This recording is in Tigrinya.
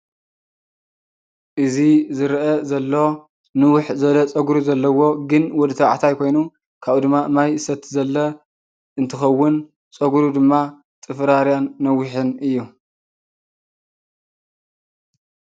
እዚ ዝረአ ዘሎ ንውሕ ዝበለ ፀጉሪ ዘለዎ ግን ወዲ ተባዕታይ ኮይኑ ካብኡ ድማ ማይ ዝሰቲ ዘሎ እንትኸውን ፀጉሩ ድማ ጥፍራርያን ነዊሕን እዩ፡፡